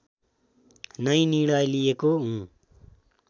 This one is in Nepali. नै निर्णय लिएको हुँ